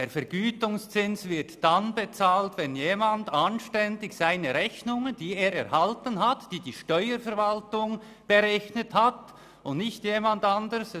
Ein Vergütungszins wird dann bezahlt, wenn jemand die Rechnungen fristgerecht bezahlt, die er von der Steuerverwaltung – und von niemand anderem – erhalten hat.